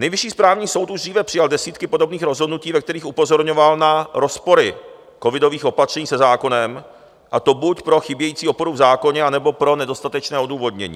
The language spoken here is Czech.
Nejvyšší správní soud už dříve přijal desítky podobných rozhodnutí, ve kterých upozorňoval na rozpory covidových opatření se zákonem, a to buď pro chybějící oporu v zákoně, anebo pro nedostatečné odůvodnění.